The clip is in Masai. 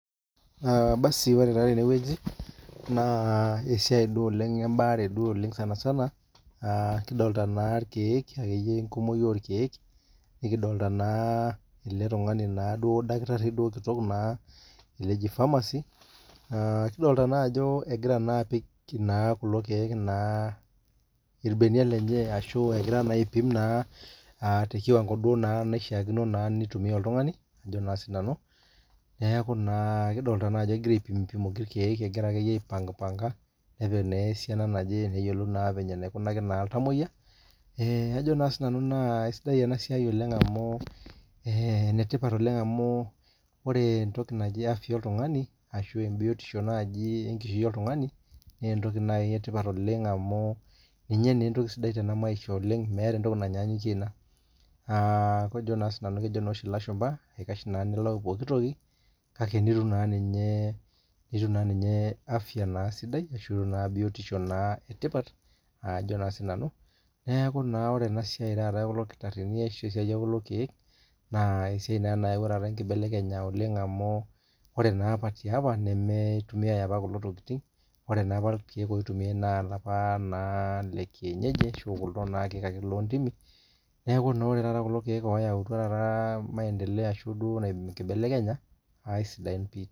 ore taa teneweji naa esiai taa ebare oleng ene sanisana kidolta naa ikeek, eletung'ani naa kitari oji pharmacy kidolta naa ajo egira apik kulokeek naa ibeniak lenye ashu egira aipim tekiwango naa shiakino naa nitumiya otung'ani, kidolta naa egira aipimoki ikeek, naa kajo sii nanu kisidai enasiai oleng' amu enetipat oleng amu afia oltung'ani ashu tipat oltung'ani naa ninye naa entoki sidi oleng' amu kejo naa oshi ilashumba eikash ninye nilau pooki toki kake niyata akeninye afia sidai ashu naa biotisho sidai, neeku naa ore enasiai ekulo kitarini naa esiai ekulo keek neyawuo engibelekenyata amu ore apa naa ilkeek lekienyeji itumiyai, ore taata kulo keek oyautua naa kisidai n pii.